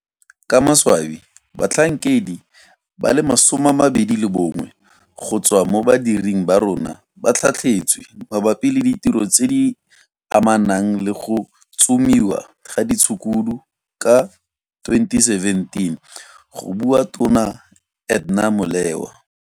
Ka maswabi batlhankedi ba le 21 go tswa mo badiring ba rona ba tlhatlhetswe mabapi le ditiro tse di amanang le go tsomiwa ga ditshukudu ka 2017 go bua Tona Edna Molewa.